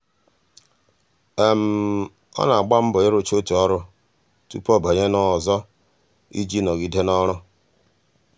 ọ na-agba mbọ ịrụcha otu ọrụ tụpụ ọ banye na ọzọ iji nọgide n'ọrụ.